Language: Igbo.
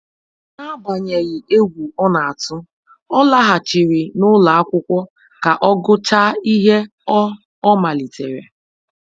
N'agbanyeghị egwu ọ na-atụ, ọ laghachiri n'ụlọ akwụkwọ ka ọ gụchaa ihe ọ ọ malitere.